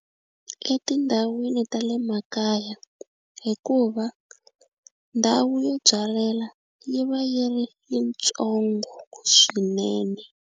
Etindhawini ta le makaya hikuva ndhawu yo byalela yi va yi ri yitsongo swinene.